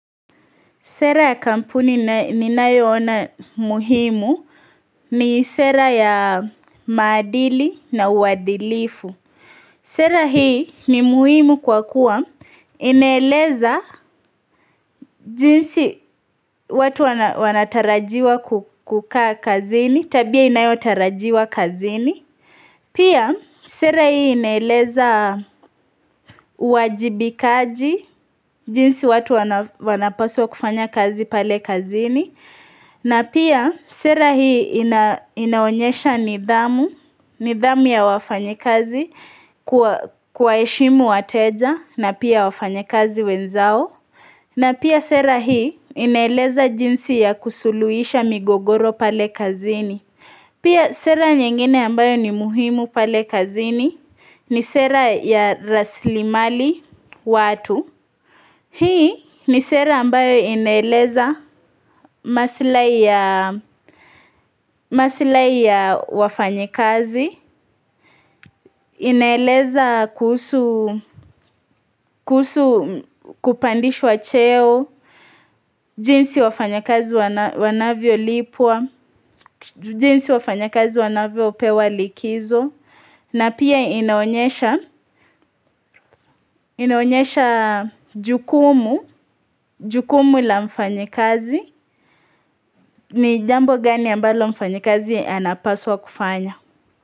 Sera ya kampuni ninayoona muhimu ni sera ya maadili na uadilifu. Sera hii ni muhimu kwa kuwa inaeleza jinsi watu wanatarajiwa kukaa kazini, tabia inayotarajiwa kazini. Pia sera hii inaeleza uwajibikaji, jinsi watu wanapaswa kufanya kazi pale kazini. Na pia sera hii inaonyesha nidhamu ya wafanyikazi kuwaheshimu wateja na pia wafanyikazi wenzao. Na pia sera hii inaeleza jinsi ya kusuluisha migogoro pale kazini. Pia sera nyengine ambayo ni muhimu pale kazini ni sera ya raslimali watu. Hii ni sera ambayo inaeleza masilahi ya wafanyikazi, inaeleza kuhusu kupandishwa cheo, jinsi wafanyikazi wanavyolipwa, jinsi wafanyikazi wanavyopewa likizo. Na pia inaonyesha, inaonyesha jukumu, jukumu la mfanyikazi, ni jambo gani ambalo mfanyikazi anapaswa kufanya.